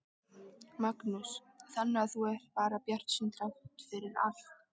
Magnús: Þannig að þú ert bara bjartsýnn þrátt fyrir allt?